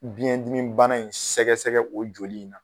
Biyɛn dimi bana in sɛgɛsɛgɛ o joli